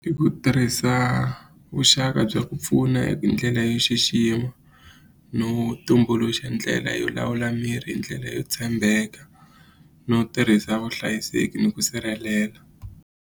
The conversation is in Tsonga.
Hi ku tirhisa vuxaka bya ku pfuna hi ndlela yo xixima no tumbuluxa ndlela yo lawula mirhi hi ndlela yo tshembeka no tirhisa vuhlayiseki ni ku sirhelela.